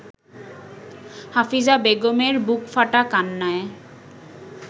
হাফিজা বেগমের বুকফাটা কান্নায়